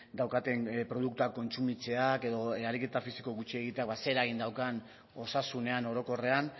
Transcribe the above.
daukaten produktuak kontsumitzeak edo ariketa fisiko gutxi egiteak ze eragin daukan osasunean orokorrean